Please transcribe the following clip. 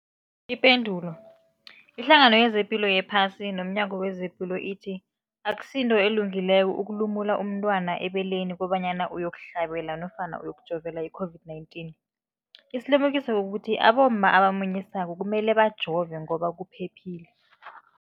Ipendulo, iHlangano yezePilo yePhasi nomNyango wezePilo ithi akusinto elungileko ukulumula umntwana ebeleni kobanyana uyokuhlabela nofana uyokujovela i-COVID-19. Isilimukiso kukuthi abomma abamunyisako kumele bajove ngoba kuphephile.